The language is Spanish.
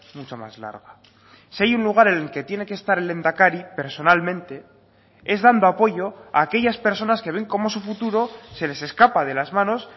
mucho más larga si hay un lugar en el que tiene que estar el lehendakari personalmente es dando apoyo a aquellas personas que ven cómo su futuro se les escapa de las manos